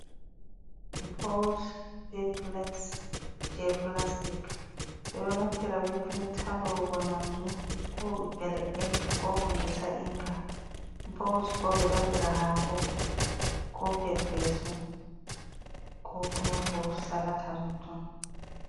Bowls be plate je plastic bedo naftira be plate halowgo nyamdu ko elebe ko hundesa inga bowls bo be do adira hako ko perpesu ko kuma furusalata tottu.